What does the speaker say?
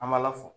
An b'a la